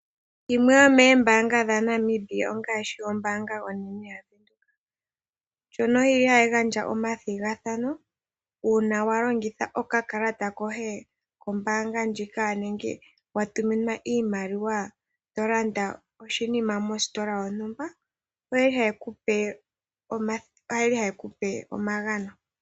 Dhimwe dhomeembaanga dhaNamibia ongaashi ombaanga onene yaVenduka ndjono yili hayi gandja omathigathano uuna wa longitha okakalata koye kombaanga ndjika nenge wa tuminwa iimaliwa to landa oshinima mositola yontumba, oye li haye ku pe omagano.